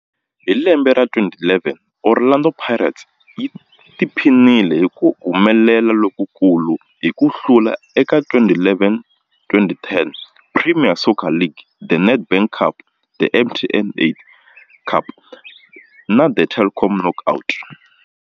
Hi lembe ra 2011, Orlando Pirates yi tiphinile hi ku humelela lokukulu hi ku hlula eka 2011, 2010 Premier Soccer League, The Nedbank Cup, The MTN 8 Cup na The Telkom Knockout.